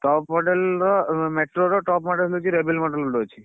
Top model ର metro ର top model ହଉଛି model ଗୋଟେ ଅଛି।